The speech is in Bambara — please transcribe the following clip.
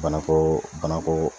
Banako banako